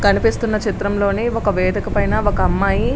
కనిపిస్తున్న చిత్రంలోని ఒక వేదిక పైన ఒక అమ్మాయి --